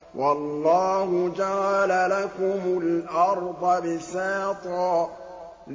وَاللَّهُ جَعَلَ لَكُمُ الْأَرْضَ بِسَاطًا